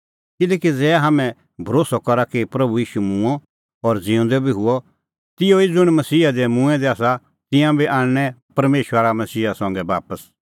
किल्हैकि ज़ै हाम्हैं भरोस्सअ करा कि प्रभू ईशू मूंअ और ज़िऊंदअ बी हुअ तिहअ ई ज़ुंण मसीहा दी मूंऐं दै आसा तिंयां बी आणनैं परमेशरा मसीहा संघै बापस